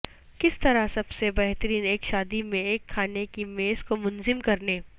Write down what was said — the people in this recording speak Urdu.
کس طرح سب سے بہترین ایک شادی میں ایک کھانے کی میز کو منظم کرنے